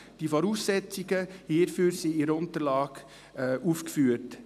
Die Voraussetzungen hierfür sind in der Unterlage aufgeführt.